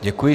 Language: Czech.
Děkuji.